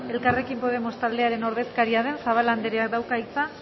elkarrekin podemos taldearen ordezkaria den zabala andereak dauka hitza